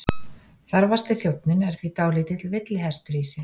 Þarfasti þjónninn er því dálítill villihestur í sér.